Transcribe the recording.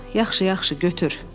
Yaxşı, yaxşı, götür.